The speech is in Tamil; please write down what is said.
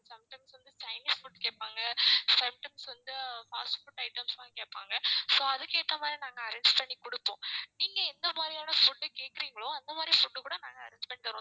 sometimes வந்து chinese food கேட்பாங்க sometimes வந்து fast food itemsலாம் கேட்பாங்க so அதுக்கு ஏத்த மாதிரி நாங்க arrange பண்ணி கொடுப்போம் நீங்க எந்த மாதிரியான food கேட்கறீங்களோ அந்த மாதிரி food கூட நாங்க arrange பண்ணி தருவோம்